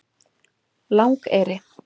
Langeyri